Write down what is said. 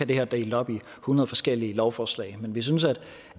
det her delt op i hundrede forskellige lovforslag vi synes